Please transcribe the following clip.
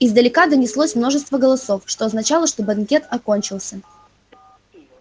издалека донеслось множество голосов это означало что банкет окончился